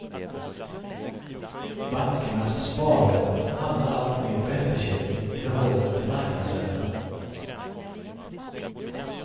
Bankernas sparränta hamnar alltmer på efterkälken i förhållande till marknadsräntan.